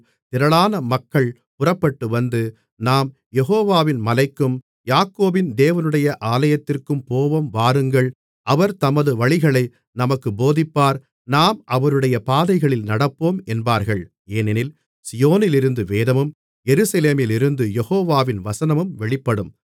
திரளான மக்கள் புறப்பட்டு வந்து நாம் யெகோவாவின் மலைக்கும் யாக்கோபின் தேவனுடைய ஆலயத்திற்கும் போவோம் வாருங்கள் அவர் தமது வழிகளை நமக்குப் போதிப்பார் நாம் அவருடைய பாதைகளில் நடப்போம் என்பார்கள் ஏனெனில் சீயோனிலிருந்து வேதமும் எருசலேமிலிருந்து யெகோவாவின் வசனமும் வெளிப்படும்